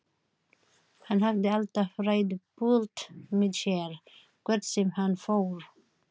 Hann hafði alltaf ræðupúlt með sér hvert sem hann fór.